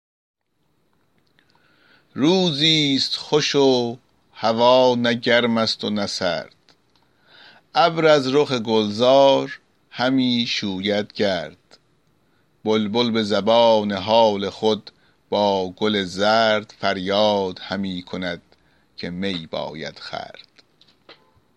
روزی ست خوش و هوا نه گرم است و نه سرد ابر از رخ گلزار همی شوید گرد بلبل به زبان حال خود با گل زرد فریاد همی کند که می باید خورد